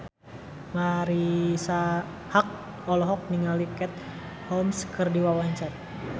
Marisa Haque olohok ningali Katie Holmes keur diwawancara